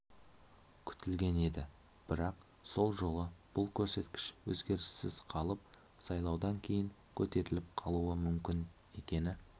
күтілген еді бірақ сол жолы бұл көрсеткіш өзгеріссіз қалып сайлаудан кейін көтеріліп қалуы мүмкін екені